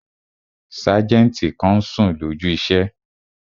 Sájẹ̀ntì kan n sùn lójú iṣẹ́